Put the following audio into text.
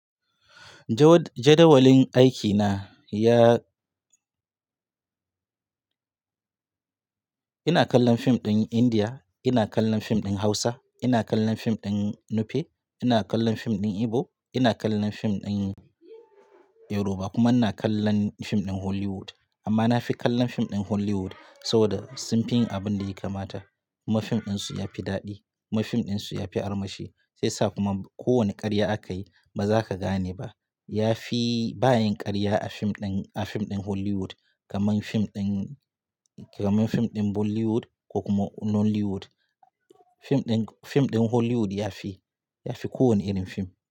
Jadawalin aikina ya ina kallon fim ɗin Indiya, ina kallon fim ɗin Hausa, ina kallon fim ɗin Nupe, ina kallon fim ɗin Igbo, ina kallon fim ɗin Yoruba kuma ina kallon fim ɗin Hollywood. Amma na fi kallon fim ɗin Hollywood saboda sunfi yin abin da ya kamata. Kuma fim ɗinsu yafi daɗi. Kuma fim ɗinsu yafi armashi. Sai sa kuma ko wane ƙarya aka yi baza ka gane ba. Yafi bayan ƙarya a fim ɗin, a fim ɗin Hollywood kamar fim ɗin, kamar fim ɗin Bollywood ko kuma Nollywood. Fim ɗin, fim ɗin Hollywood yafi, yafi ko wane irin fim.